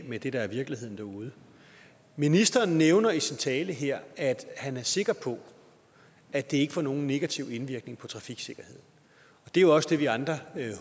med det der er virkeligheden derude ministeren nævner i sin tale her at han er sikker på at det ikke får nogen negativ indvirkning på trafiksikkerheden og det er jo også det vi andre